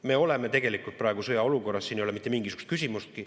Me oleme tegelikult praegu sõjaolukorras, siin ei ole mitte mingisugust küsimustki.